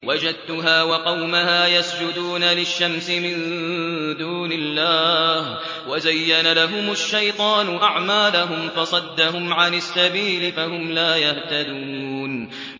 وَجَدتُّهَا وَقَوْمَهَا يَسْجُدُونَ لِلشَّمْسِ مِن دُونِ اللَّهِ وَزَيَّنَ لَهُمُ الشَّيْطَانُ أَعْمَالَهُمْ فَصَدَّهُمْ عَنِ السَّبِيلِ فَهُمْ لَا يَهْتَدُونَ